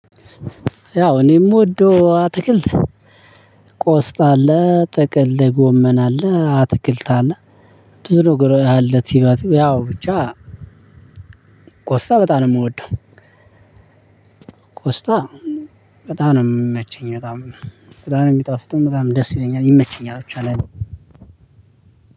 ያው እኔ ምወዶ አትክልት ቆስጣ አለ ጥቅል ጎመና አለ። አትክልት አለ። ብዙ ነገር ያለ ትማትም ያው ብቻ ቆስጣ በጣም ነው የምወደው ቆስጣ በጣም ነው የምመቸኝ በጣም በጣም ነው የሚጣፍጥም በጣም ደስ ይለኛል ይመቸኛል ብቻ ለኔ